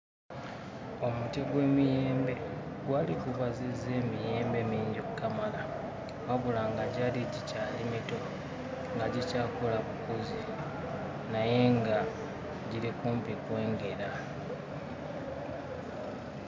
Omuti gw'emiyembe gwali gubazizza emiyembe mingi okkamala wabula nga gyali gikyali mito nga gikyakula bukuzi naye nga giri kumpi kwengera.